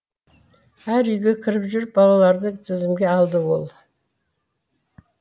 әр үйге кіріп жүріп балаларды тізімге алды ол